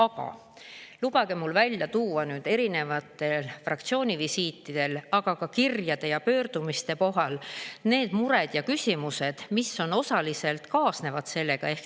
Aga lubage mul välja tuua erinevatel fraktsiooni visiitidel ning ka kirjadest ja pöördumistest mured ja küsimused, mis osaliselt sellega kaasnevad.